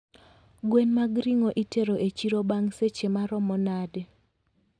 Gwen mag ringo itero e chiro bang' seche maromo nade?